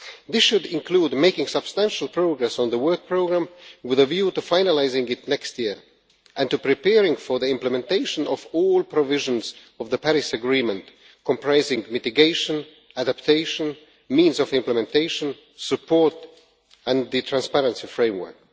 This should include making substantial progress on the work programme with a view to finalising it next year and to preparing for the implementation of all provisions of the Paris Agreement, comprising mitigation, adaptation, means of implementation, support and the transparency framework.